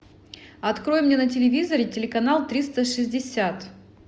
открой мне на телевизоре телеканал триста шестьдесят